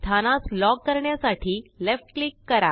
स्थानास lock करण्यासाठी left click करा